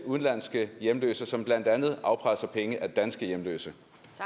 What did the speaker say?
udenlandske hjemløse som blandt andet afpresser penge af danske hjemløse